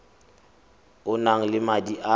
o nang le madi a